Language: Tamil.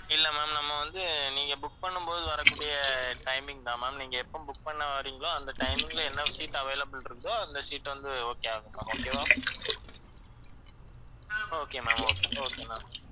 இல்ல ma'am நம்ம வந்து நீங்க book பண்ணும்போது வரக்கூடிய timing தான் ma'am நீங்க எப்ப பண்ண வர்றீங்களோ அந்த timing ல என்ன seat available இருக்குதோ, அந்த seat வந்து okay ஆகும். okay வா okay ma'am okay, okay ma'am